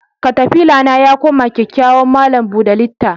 Katafila na yakoma kyakyawan malam buda litta.